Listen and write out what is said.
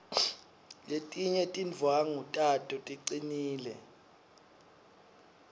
letinye tindwvangu tato ticinile